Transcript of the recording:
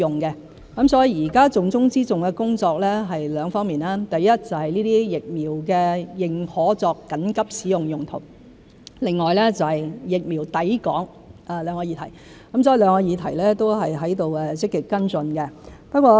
現時重中之重的工作是兩方面，第一，就是認可這些疫苗作緊急使用用途；另外是疫苗抵港，兩個議題都正在積極跟進。